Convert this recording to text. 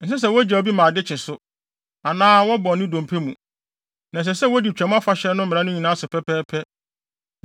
Ɛnsɛ sɛ wogyaw bi ma ade kye so, anaa wɔbɔ ne dompe mu. Na ɛsɛ sɛ wodi Twam Afahyɛ no mmara no nyinaa so pɛpɛɛpɛ.